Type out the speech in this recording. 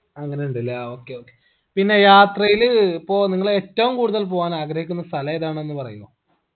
അങ്ങനിണ്ടലേ ആ okay okay പിന്നെ യാത്രയില് പ്പോ നിങ്ങള് ഏറ്റവും കൂടുതൽ പോവാനാഗ്രഹിക്കുന്ന സ്ഥലേതാണെന്ന് പറയോ